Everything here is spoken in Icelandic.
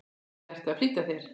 eða ertu að flýta þér?